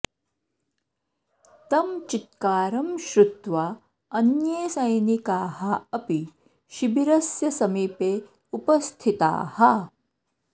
तं चित्कारं श्रुत्वा अन्ये सैनिकाः अपि शिबिरस्य समीपे उपस्थिताः